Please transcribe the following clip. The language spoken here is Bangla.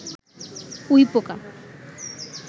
উইপোকা